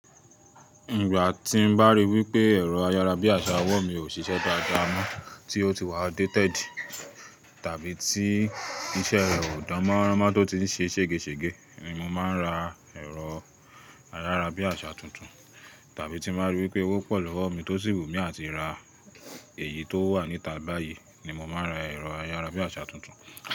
Ìgbà tí ń bá rí wí pé ẹ̀rọ ayárabíàṣá ọwọ́ mi ò ṣiṣẹ́ dáadáa mọ́, tí ó ti wà outdated, tàbí tí iṣẹ́ rẹ̀ ò dánmọ́ránmọ́ tó ti ń ṣe ṣègeṣège, ni mo máa ń ra ẹ̀rọ ayárabíàṣá tuntun, tàbí tí n bá rí wí pé owó pọ̀ lówó mi tó sì wù mí àti ra èyí tó wà níta báyìí ni mo máa n ra ẹ̀rọ ayárabíàṣá tuntun.